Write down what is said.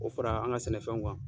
Ko fara an ka sɛnɛfɛnw kan.